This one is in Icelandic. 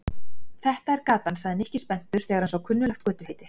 Þetta er gatan sagði Nikki spenntur þegar hann sá kunnuglegt götuheiti.